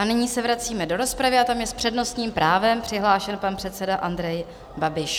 A nyní se vracíme do rozpravy a tam je s přednostním právem přihlášen pan předseda Andrej Babiš.